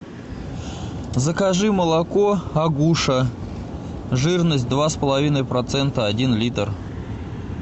закажи молоко агуша жирность два с половиной процента один литр